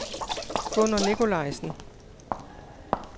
Gunnar Nikolajsen